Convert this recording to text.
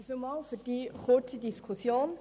Vielen Dank für die kurze Diskussion.